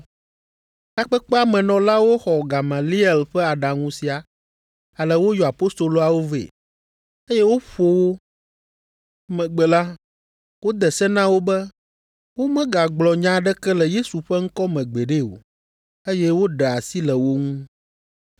Takpekpea me nɔlawo xɔ Gamaliel ƒe aɖaŋu sia ale woyɔ apostoloawo vɛ, eye woƒo wo. Emegbe la, wode se na wo be womegagblɔ nya aɖeke le Yesu ƒe ŋkɔ me gbeɖe o, eye woɖe asi le wo ŋu.